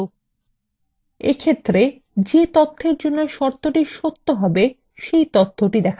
সেই তথ্যটি দেখতে পারবেন যার জন্য শর্তটি সত্য যে তথ্যের জন্য শর্তটি সত্য হবে সেটি দেখা যাবে